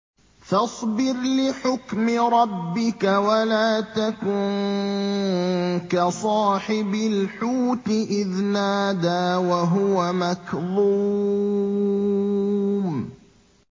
فَاصْبِرْ لِحُكْمِ رَبِّكَ وَلَا تَكُن كَصَاحِبِ الْحُوتِ إِذْ نَادَىٰ وَهُوَ مَكْظُومٌ